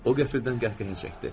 O qəfildən qəhqəhə çəkdi.